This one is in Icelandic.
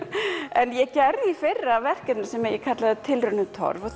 en ég gerði í fyrra verkefni sem ég kallaði tilraun í torf og